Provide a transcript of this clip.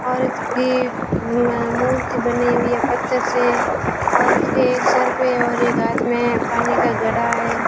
औरत की म मूर्ति बनी हुई है पत्थर से औरत के एक सर पे और एक हाथ में पानी का घड़ा है।